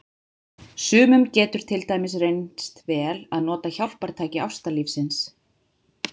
Sumum getur til dæmis reynst vel að nota hjálpartæki ástarlífsins.